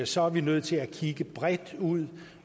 så er nødt til at kigge bredt ud